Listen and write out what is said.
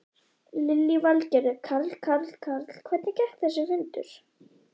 Lillý Valgerður: Karl, Karl, Karl, Karl, hvernig gekk þessi fundur?